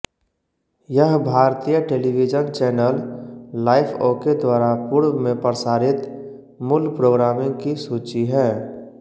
यह भारतीय television channel Life OK द्वारा पूर्व में प्रसारित मूल प्रोग्रामिंग की सूची है